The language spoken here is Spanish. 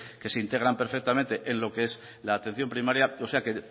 que se integran perfectamente en lo que es la atención primaria o sea que